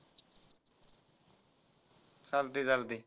चालतय चालतय.